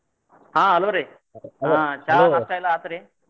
ಹಾ hello ರಿ ಹಾ ಚಾ ನಾಷ್ಟಾ ಎಲ್ಲಾ ಆತ್ರಿ?